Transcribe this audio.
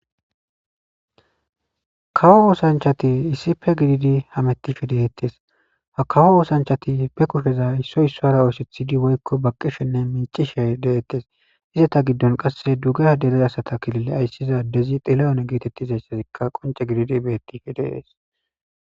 kawo woosanchati issipe gididi hamettife deettes hakawo woosanchati pe kusheza issoy issoara oosethidi woykko baqqishenne mincishe deettes izata giddon qasse duger deliza sata kilille ayssizadezi xila7one geetettizayssazikka qonce gididi beettife deees